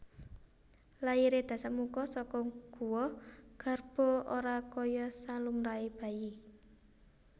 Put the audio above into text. Lairé Dasamuka saka guwa garba ora kaya salumrahé bayi